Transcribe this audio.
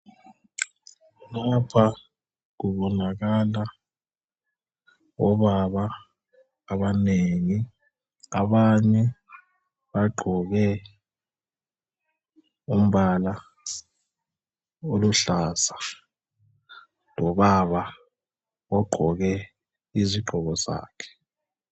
Lapha kubonakala obaba abanengi, abanye bagqoke umbala oluhlaza, lobaba ogqoke izigqoko zakhe.